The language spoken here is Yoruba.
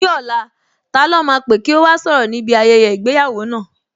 Ní ọ̀la, ta lọ́ máa pè kí ó wá sọ̀rọ̀ níbi ayẹyẹ ìgbéyàwó náà?